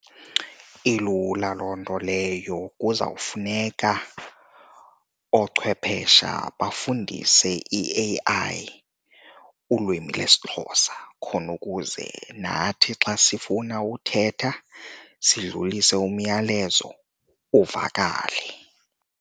Ilula loo nto leyo. Kuzawufuneka oochwephesha bafundise i-A_I ulwimi lesiXhosa khona ukuze nathi xa sifuna uthetha sidlulisa umyalezo, uvakale.